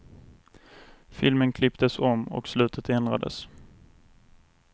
Filmen klipptes om och slutet ändrades.